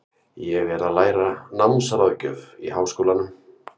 Ég er að læra námsráðgjöf í Háskólanum.